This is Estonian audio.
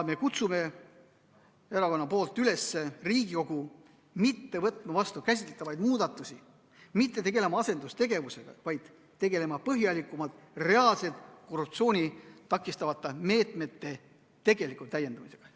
Me kutsume Riigikogu üles käsitletavaid muudatusi mitte vastu võtma, mitte tegelema asendustegevusega, vaid tegelema põhjalikult reaalselt korruptsiooni takistavate meetmete täiendamisega.